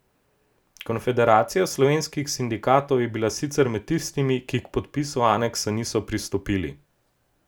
Konfederacija slovenskih sindikatov je bila sicer med tistimi, ki k podpisu aneksa niso pristopili.